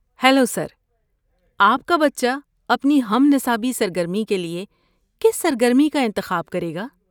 Hello sir, آپ کا بچہ اپنی ہم نصابی سرگرمی کے لیے کس سرگرمی کا انتخاب کرے گا؟